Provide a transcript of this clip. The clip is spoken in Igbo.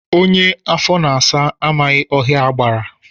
Onye afọ na-asa amaghị ọhịa agbara